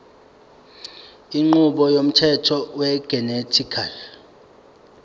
inqubo yomthetho wegenetically